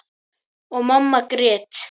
Og mamma grét.